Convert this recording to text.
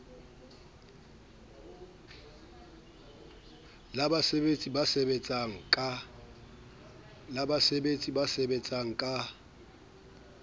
la basebetsi ba sebetsang ka